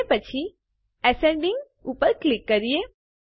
અને પછી એસેન્ડિંગ પર ક્લિક કરીએ